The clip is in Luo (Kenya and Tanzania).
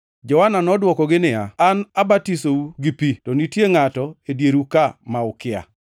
Johana nodwokogi niya, “An abatisou gi pi, to nitie ngʼato e dieru ma ukia.